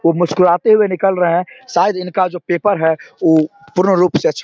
वो मुस्कुराते हुए निकल रहे है शायद इनका जो पेपर है ऊ पूर्ण रूप से अच्छा --